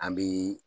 An bi